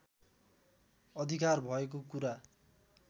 अधिकार भएको कुरा